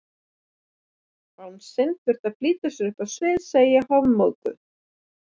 Bangsinn þurfti að flýta sér upp á svið, segi ég hofmóðug.